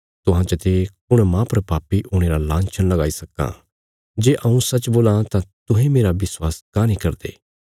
तुहां चते कुण माह पर पापी हुणे रा लांछन लगाई सक्कां जे हऊँ सच्च बोल्लां तां तुहें मेरा विश्वास काँह नीं करदे